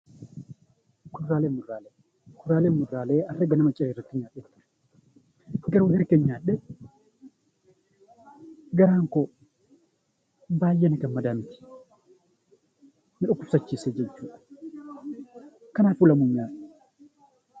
Kuduraalee fi muduraalee Kuduraalee fi muduraalee akka danuu nyaadhee garaan koo baayyee na gammadaa miti, na dhukkubsachiisa jechuudha. Kanaafuu lamuu hin nyaadhu.